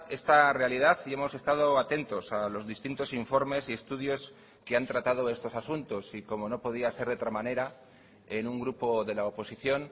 esta realidad y hemos estado atentos a los distintos informes y estudios que han tratado estos asuntos y como no podía ser de otra manera en un grupo de la oposición